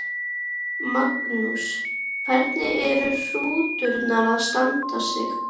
Magnús: Hvernig eru hrútarnir að standa sig?